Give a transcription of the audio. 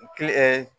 Kili ɛɛ